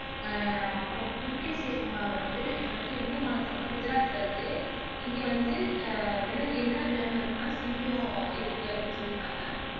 அஹ் அப்பறம் கிர் தேசிய பூங்காவுல வந்து இது வந்து எந்த மாநிலத்துல இருக்குன்னா குஜராத்ல இருக்கு இங்க வந்து அஹ் விலங்க் என்னன்ன விலங்குகள் இருக்குன்னா சிங்கம் இருக்கு அப்படின்னு சொல்லிருக்காங்க